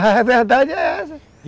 A verdade é essa.